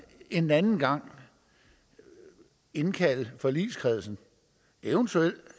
en anden gang indkalde forligskredsen eventuelt